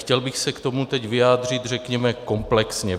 Chtěl bych se k tomu teď vyjádřit, řekněme, komplexně.